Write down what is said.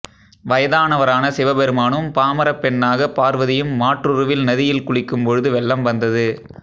வயதானவரான சிவபெருமானும் பாமரப் பெண்ணாக பார்வதியும் மாற்றுருவில் நதியில் குளிக்கும் பொழுது வெள்ளம் வந்தது